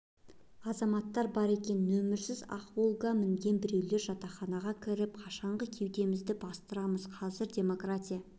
азаматтар бар екен нөмірсіз ақ волга мінген біреулер жатақханаға кіріп қашанғы кеудемізді бастырамыз қазір демократия